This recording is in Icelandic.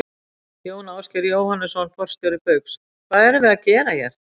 Jón Ásgeir Jóhannesson, forstjóri Baugs: Hvað erum við að gera hér?